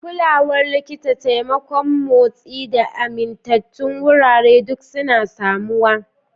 Kulawar likita, taimakon motsi, da amintattun wurare duk suna samuwa.